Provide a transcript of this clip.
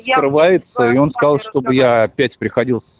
ем вскрывается и он сказал чтобы я опять приходил с